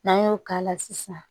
N'an y'o k'a la sisan